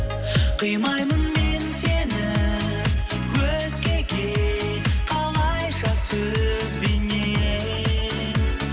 қимаймын мен сені өзгеге қалайша сөзбенен